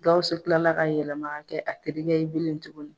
Guwusu kilala ka yɛlɛma ka kɛ a terikɛ ye bilen tuguni